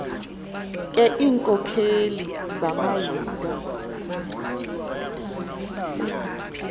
ke iinkokeli zamayuda